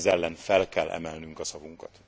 Ez ellen fel kell emelnünk a szavunkat.